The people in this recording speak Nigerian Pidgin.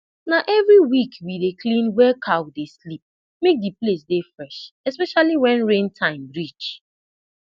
na every week we take dey clean wey cow dey sleep make the place dey fresh especially when rain time reach